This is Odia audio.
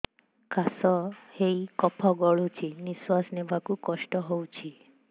କାଶ ହେଇ କଫ ଗଳୁଛି ନିଶ୍ୱାସ ନେବାକୁ କଷ୍ଟ ହଉଛି